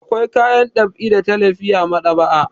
Akwai kayan ɗab'i da talifi a maɗ'aba'a.